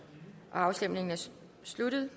afstemningen er sluttet